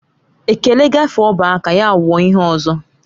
Ekele gaafe ọba aka ya wuo ihe ọzọ